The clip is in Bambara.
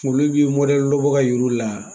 Olu b'i lɔ bɔ ka yir'u la.